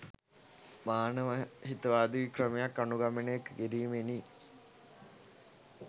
මානව හිතවාදී ක්‍රමයක් අනුගමනය කිරීමෙනි